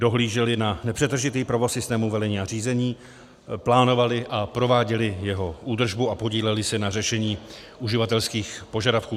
Dohlíželi na nepřetržitý provoz systému velení a řízení, plánovali a prováděli jeho údržbu a podíleli se na řešení uživatelských požadavků.